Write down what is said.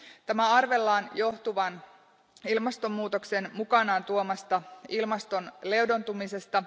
Tämän arvellaan johtuvan ilmastonmuutoksen mukanaan tuomasta ilmaston leudontumisesta.